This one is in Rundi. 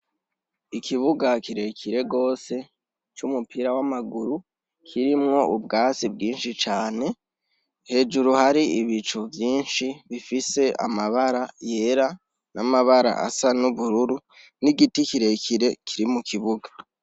Ikibuga kirekire gose c'umupira w'amaguru kirimwo ubwatsi bwinshi cane hejuru hari ibicu vyinshi bifise amabara yera n'amabara asa n'ubururu n'igiti kirekire kiri mu kibuga.